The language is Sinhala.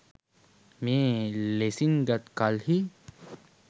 මේ ලෙසින් ගත් කල්හි